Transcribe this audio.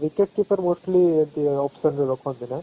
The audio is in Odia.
wicket keeper mostly ଏମିତି option ରେ ରଖନ୍ତି ନାଇ